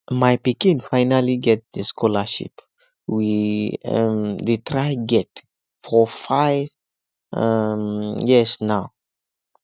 my pikin finally get the scholarship we um dey try to get for five um years now